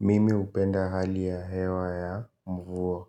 Mimi hupenda hali ya hewa ya mvua.